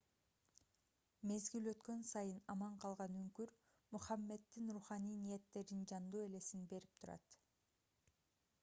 мезгил өткөн сайын аман калган үңкүр мухаммеддин руханий ниеттеринин жандуу элесин берип турат